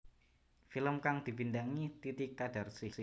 Film kang dibintangi Titi Qadarsih